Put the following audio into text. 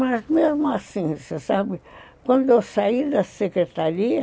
Mas mesmo assim, você sabe, quando eu saí da secretaria,